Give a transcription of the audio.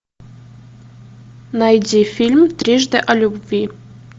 найди фильм трижды о любви